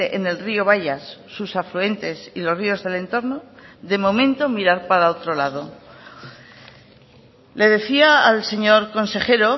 en el río bayas sus afluentes y los ríos del entorno de momento mirar para otro lado le decía al señor consejero